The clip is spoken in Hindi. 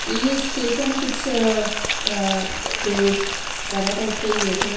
ये स्टेशन कुछ अ अ जो बड़ा टाइप का ही है थोडा --